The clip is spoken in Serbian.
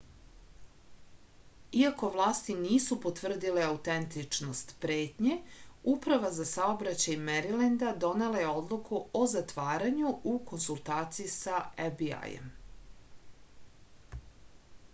iako vlasti nisu potvrdile autentičnost pretnje uprava za saobraćaj merilenda donela je odluku o zatvaranju u konsultaciji sa fbi-jem